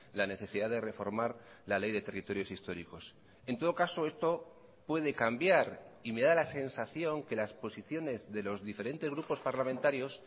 la necesidad de reformar la ley de territorios históricos en todo caso esto puede cambiar y me da la sensación que las posiciones de los diferentes grupos parlamentarios